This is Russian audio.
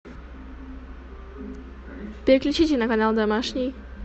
переключите на канал домашний